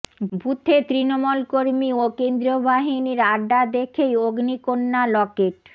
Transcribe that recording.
বুথে তৃণমূল কর্মী ও কেন্দ্রীয় বাহিনীর আড্ডা দেখেই অগ্নিকন্যা লকেট